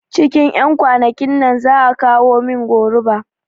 Cikin ƴan kwanakin nan za'a kawo min goruba